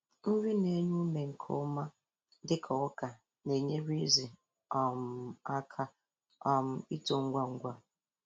Nri na-enye ume nke ọma dịka ọka na-enyere ezi um aka um ito ngwa ngwa.